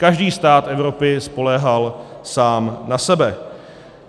Každý stát Evropy spoléhal sám na sebe.